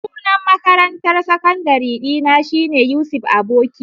Sunan makarantar sakandare dina shine Yusuf Aboki.